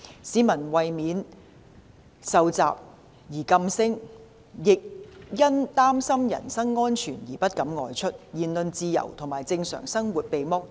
市民為免受襲而噤聲，亦因擔心人身安全而不敢外出，言論自由和正常生活被剝奪。